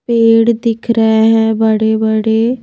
पेड़ दिख रहे हैं बड़े-बड़े।